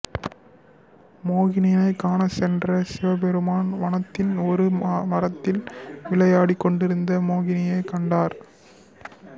மோகினியினை காண சென்ற சிவபெருமான் வனத்தின் ஒரு மரத்தில் விளையாடிக்கொண்டிருந்த மோகினியை கண்டார்